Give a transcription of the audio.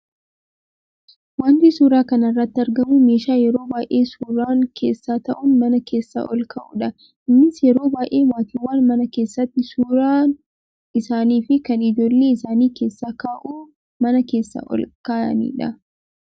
Wanti suuraa kana irratti argamu meeshaa yeroo baayyee suuraan keessa taa'uun mana keessa ol kaa'udha. Innis yeroo baayyee maatiiwwan mana keesaatti suuraa isaanii fi kan ijoollee isaanii keessa kaa'uu mana keessa ol kaayanidha.